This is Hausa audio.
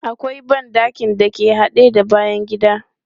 Akwai ban ɗakin da ke haɗe da bayan gida.